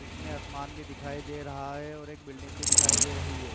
इसमें आसमान भी दिखाई दे रहा है और एक बिल्डिंग भी दिखाई दे रही है।